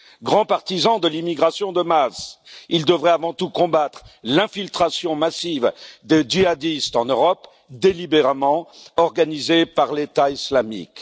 Grands partisans de l'immigration de masse, ils devraient avant tout combattre l'infiltration massive des djihadistes en Europe, délibérément organisée par l'État islamique.